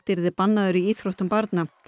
yrði bannaður í íþróttum barna